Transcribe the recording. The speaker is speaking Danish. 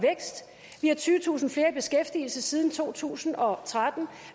har tyvetusind flere i beskæftigelse siden to tusind og tretten